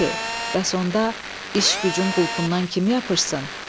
Bəs onda iş-gücün qulpundan kim yapışsın?